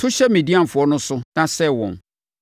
“To hyɛ Midianfoɔ no so na sɛe wɔn,